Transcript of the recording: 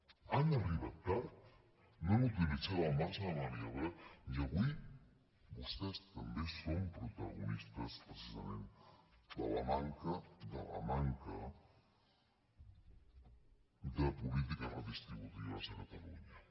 han arribat tard no han utilitzat el marge de maniobra i avui vostès també són protagonistes precisament de la manca de la manca de polítiques redistributives a catalunya